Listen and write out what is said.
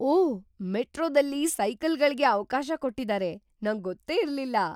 ಓಹ್! ಮೆಟ್ರೋದಲ್ಲಿ ಸೈಕಲ್‌ಗಳ್ಗೆ ಅವ್ಕಾಶ ಕೊಟ್ಟಿದಾರೆ. ನಂಗೊತ್ತೇ ಇರ್ಲಿಲ್ಲ.